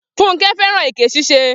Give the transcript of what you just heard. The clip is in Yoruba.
Funmi fẹ́ràn èké ṣíṣe.